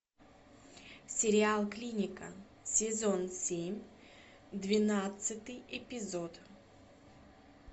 сериал клиника сезон семь двенадцатый эпизод